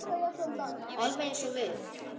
Alveg eins og við.